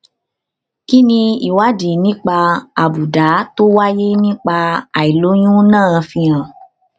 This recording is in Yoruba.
kí ni ìwádìí nípa àbùdá tó wáyé nípa àìlóyún náà fi hàn